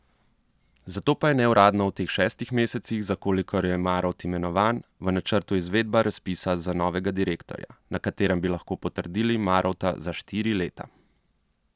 Zato pa je neuradno v teh šestih mesecih, za kolikor je Marovt imenovan, v načrtu izvedba razpisa za novega direktorja, na katerem bi lahko potrdili Marovta za štiri leta.